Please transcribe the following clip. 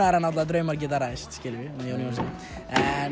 það náttúrulega draumar geta ræst með Jóni Jónssyni en